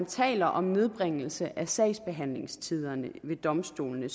taler om nedbringelse af sagsbehandlingstiderne ved domstolene